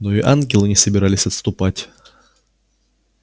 но и ангелы не собирались отступать